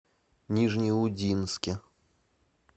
нижнеудинске